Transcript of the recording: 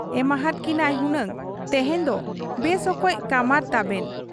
ᱮᱢᱟᱦᱟᱫ ᱠᱤᱱᱟᱭ ᱦᱩᱱᱟᱝ ᱛᱮᱦᱮᱧ ᱫᱚ ᱵᱮᱥ ᱚᱠᱚᱡ ᱠᱟᱢᱟᱨ ᱛᱟᱵᱮᱱ ᱾